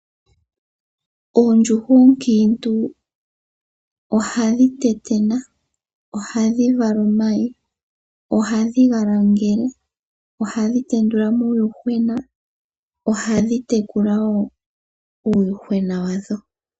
Oondjuhwa onkintu ohadhi tetena, ohadhi vala omayi, ohadhi langele, ohadhi tendula uuyuhwena, ohadhi tekula nuuyuhwena wadho.